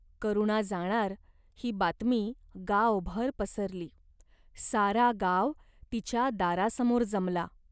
करुणा जाणार, ही बातमी गावभर पसरली. सारा गाव तिच्या दारासमोर जमला.